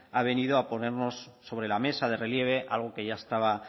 ha venido a ponernos sobre la mesa de relieve algo que ya estaba